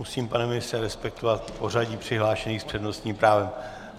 Musím, pane ministře, respektovat pořadí přihlášených s přednostním právem.